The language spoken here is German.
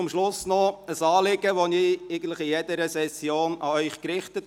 Zum Schluss habe ich ein Anliegen, das ich eigentlich an jeder Session an Sie richte: